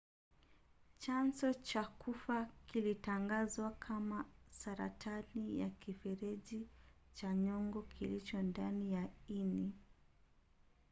chanzo cha kifo kilitangazwa kama saratani ya kifereji cha nyongo kilicho ndani ya ini